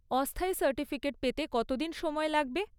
অস্থায়ী সার্টিফিকেট পেতে কতদিন সময় লাগবে?